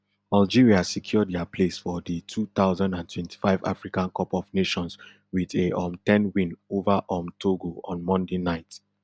algeria secure dia place for di two thousand and twenty-five africa cup of nations wit a um ten win ova um togo on monday night